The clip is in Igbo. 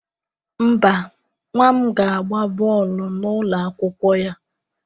Mba, nwa m ga-agba bọọlụ n'ụlọ akwụkwọ ya.